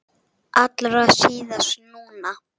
Allra síst núna.